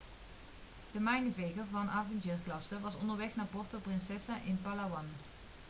de mijnenveger van avengerklasse was onderweg naar puerto princesa in palawan